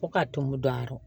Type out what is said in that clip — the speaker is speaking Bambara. Fo ka tumu don a kɔrɔ